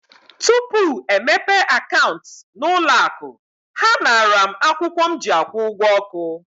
Tupu e mepee akaụntụ n'ụlọ akụ, ha naara m akwụkwọ m ji akwụ ụgwọ ọkụ.